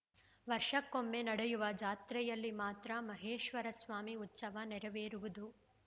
ವರ್ಷಕ್ಕೂಮ್ಮೆ ನಡೆಯುವ ಜಾತ್ರೆಯಲ್ಲಿ ಮಾತ್ರ ಮಹೇಶ್ವರಸ್ವಾಮಿ ಉತ್ಸವ ನೆರವೇರುವುದು